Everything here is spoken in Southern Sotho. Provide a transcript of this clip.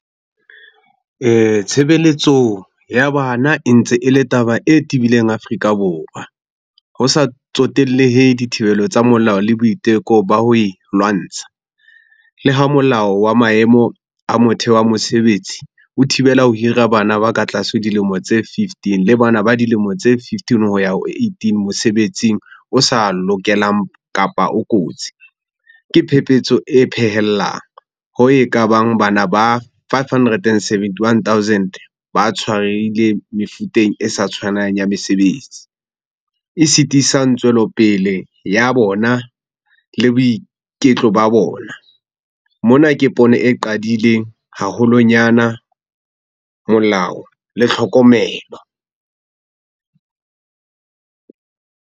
Tshebeletso ya bana e ntse e le taba e tibileng Afrika Borwa. Ho sa tsotellehe dithibelo tsa molao le boiteko ba ho e lwantsha. Le ho Molao wa maemo a motheo wa mosebetsi o thibela ho hira bana ba ka tlase dilemo tse fifteen le bana ba dilemo tse fifteen ho ya ho eighteen mosebetsing o sa lokelang kapa o kotsi. Ke phepetso e phehellang ho e ka bang bana ba five hundred and seventy-one thousand ba tshwarehileng mefuteng e sa tshwanang ya mesebetsi e sitisang tswelopele ya bona le boiketlo ba bona. Mona ke pono e qadileng haholonyana, molao le tlhokomelo.